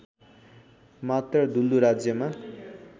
मात्र दुल्लु राज्यमा